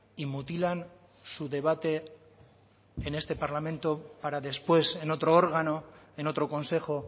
y mutilan su debate en este parlamento para después en otro órgano en otro consejo